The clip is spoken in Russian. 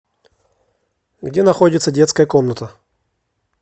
где находится детская комната